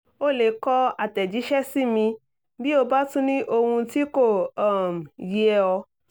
o lè kọ àtẹ̀jíṣẹ́ sí mi bí o bá tún ní ohun tí kò um yé ọ